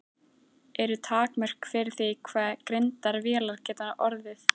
Eru takmörk fyrir því hve greindar vélar geta orðið?